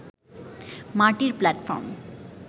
মাটির প্ল্যাটফর্ম